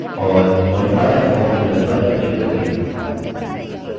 और modify the form विकल्प पर click करिये